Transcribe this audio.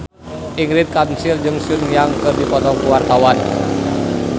Ingrid Kansil jeung Sun Yang keur dipoto ku wartawan